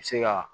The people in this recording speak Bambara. Se ka